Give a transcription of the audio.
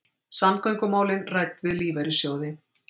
Samgöngumálin rædd við lífeyrissjóði